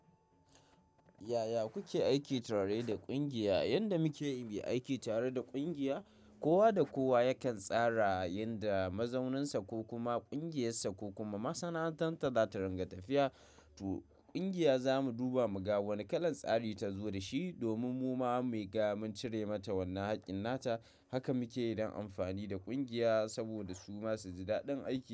Yaya kuke aiki tare da ƙungiya? Yanda mukeyi muyi aiki tare da ƙungiya, kowa da kowa yakan tsara yanda mazauninsa ko kuma ƙungiyarsa ko kuma masana'antarsa za ta ringa tafiya. To ƙungiya za mu duba mu ga wane kalan tsari ta zo da shi, domin mu ma mu ga mun cire mata wannan haƙƙin nata. Haka muke yi don amfani da ƙungiya, saboda su masu ji daɗin aiki.